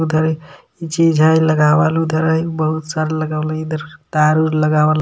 ऊधर चीज हाय लगावल उधर बहुत सारा लगावल इधर तार ओर लगावल.